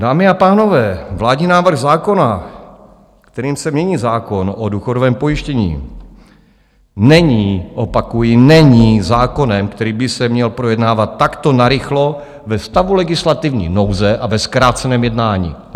Dámy a pánové, vládní návrh zákona, kterým se mění zákon o důchodovém pojištění, není, opakuji, není zákonem, který by se měl projednávat takto narychlo ve stavu legislativní nouze a ve zkráceném jednání.